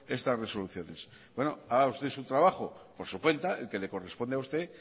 estas resoluciones haga usted su trabajo por su cuenta el que le corresponde a usted